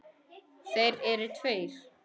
Þeir eru tveir.